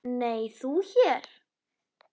Nei, þú hér?